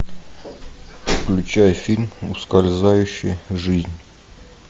включай фильм ускользающая жизнь